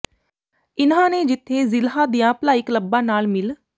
ਇਨ੍ਹਾਂ ਨੇ ਜਿੱਥੇ ਜ਼ਿਲ੍ਹੇ ਦੀਆਂ ਭਲਾਈ ਕਲੱਬਾਂ ਨਾਲ ਮਿਲ